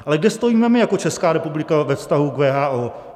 Ale kde stojíme my jako Česká republika ve vztahu k WHO?